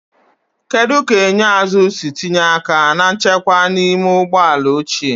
Kedu ka enyo azụ si tinye aka na nchekwa n'ime ụgbọ ala ochie?